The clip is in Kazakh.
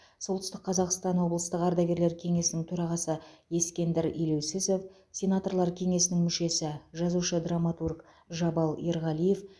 солтүстік қазақстан облыстық ардагерлер кеңесінің төрағасы ескендір елеусізов сенаторлар кеңесінің мүшесі жазушы драматург жабал ерғалиев